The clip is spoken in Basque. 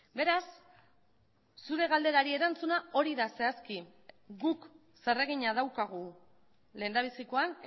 beraz zure galderari erantzuna hori da zehazki guk zer egina daukagu lehendabizikoan